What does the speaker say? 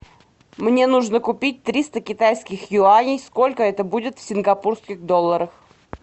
мне нужно купить триста китайских юаней сколько это будет в сингапурских долларах